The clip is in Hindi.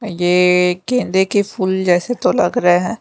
ये केंदे के फूल जैसे तो लग रहे हैं।